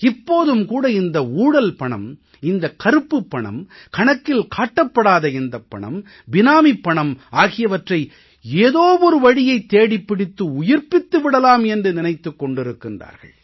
இப்போதும் கூட இந்த ஊழல் பணம் இந்த கருப்புப் பணம் கணக்கில் காட்டப்படாத இந்தப் பணம் பினாமிப் பணம் ஆகியவற்றை ஏதோ ஒரு வழியைத் தேடிப் பிடித்து உயிர்ப்பித்து விடலாம் என்று நினைத்துக் கொண்டிருக்கிறார்கள்